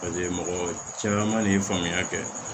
mɔgɔ caman de ye faamuya kɛ